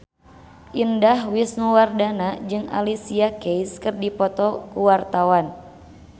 Indah Wisnuwardana jeung Alicia Keys keur dipoto ku wartawan